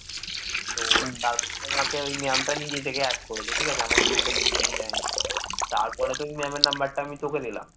তারপরে তো ওই ma'am number টা আমি তোকে দিলাম